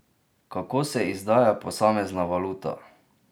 Kako se izdaja posamezna valuta?